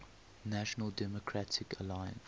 national democratic alliance